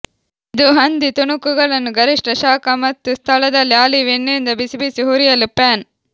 ಇದು ಹಂದಿ ತುಣುಕುಗಳನ್ನು ಗರಿಷ್ಠ ಶಾಖ ಮತ್ತು ಸ್ಥಳದಲ್ಲಿ ಆಲಿವ್ ಎಣ್ಣೆಯಿಂದ ಬಿಸಿಬಿಸಿ ಹುರಿಯಲು ಪ್ಯಾನ್